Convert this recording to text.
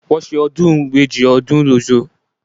Wọ́n ṣe ọdún ìbejì ní Òṣogbo lóṣù tó kọjá